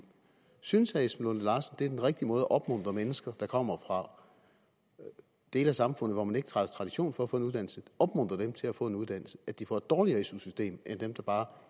synes herre esben lunde larsen det er den rigtige måde at opmuntre mennesker der kommer fra dele af samfundet hvor man ikke har tradition for at få en uddannelse til at få en uddannelse altså at de får et dårligere su system end dem der bare